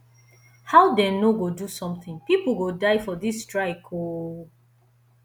how dey no go do something people go die for dis strike oo